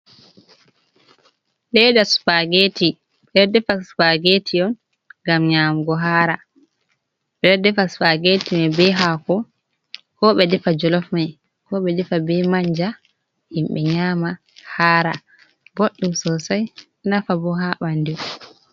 Leeda spageti, ɓe ɗo defa spageti on gam nyamugo hara. Ɓe defa spageti mai be haako, ko ɓe defa jolof mai, ko ɓe defa be manja himɓe nyama hara. Boɗɗum sosai, nafa bo ha ɓandu.